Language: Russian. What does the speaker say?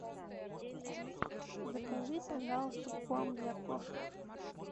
закажи пожалуйста корм для кошек